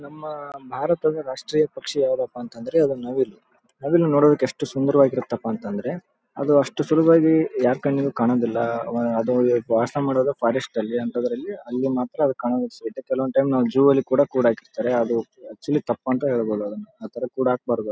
ನಮ್ಮ ಮನೆ ಸುತ್ತ ಮುತ್ತ ಕಾಡು. ಗದ್ದೆ ತೋಟ ಇದೆ. ಹಾಂಗೊಂದ್ ಐವತ್ ಆರ್ವಾತ್ ನವಿಲಗೋಳ್ ಓಡಾಡುತ್ತ ಇರ್ತಾವೆ. ಸಿಕ್ಕಾಪಟ್ಟೆ. ಚೆನ್ನಾಗಿರುತ್ತೆ ನೋಡ್ಲಿಕ್ಕೆ.